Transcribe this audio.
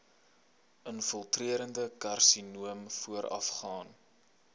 infiltrerende karsinoom voorafgaan